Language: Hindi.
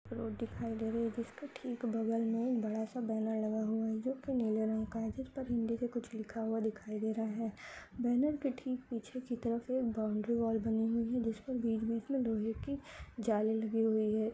रोड दिखाई दे रही है जिसके ठीक बगल में बड़ा सा बैनर लगा हुआ है जो कि नीले रंग का है जिस पर हिन्दी में कुछ लिखा हुआ दिखाई दे रहा है बैनर के ठीक पीछे तरफ एक बाउन्ड्री वॉल बनी हुई है जिसके बीच बीच में लोहे कि जाली लगी हुई है।